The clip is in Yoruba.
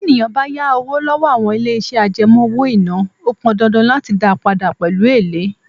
Tí ènìyàn bá yá owó lọ́wọ́ àwọn ilé iṣẹ́ àjẹmó owó-ìná, ó pọn dandan láti dá padà pẹ̀lú èlé.